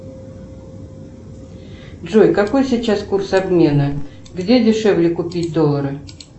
джой какой сейчас курс обмена где дешевле купить доллары